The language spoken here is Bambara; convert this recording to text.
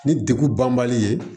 Ni degun banbali ye